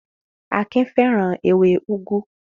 Akin fẹ́ràn ewé úgú.